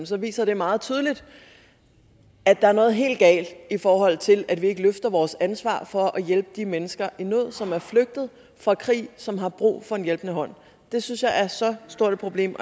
så viser det meget tydeligt at der er noget helt galt i forhold til at vi ikke løfter vores ansvar for at hjælpe de mennesker i nød som er flygtet fra krig og som har brug for en hjælpende hånd det synes jeg er så stort et problem